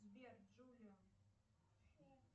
сбер джулион